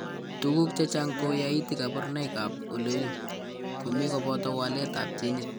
Tukuk chechang' ko yaiti kabarunoik ak ole u,ko mi koboto waletab ginit.